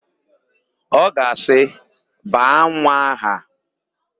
Ọ ga-asị, "baa nwa aha"!